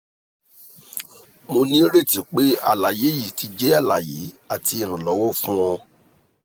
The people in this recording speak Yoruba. mo nireti pe alaye yii ti jẹ alaye ati iranlọwọ fun ọ